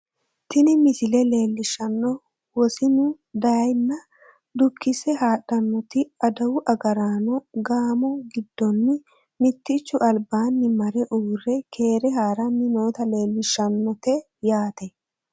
tini misile leellishshannohu wosinu dayeenna dukkise haadhannoti adawu agaraano gaamo giddonni mittichu albaanni mare uurre keere haaranni noota leellishshannote yaate